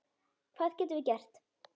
Hvað getum við gert?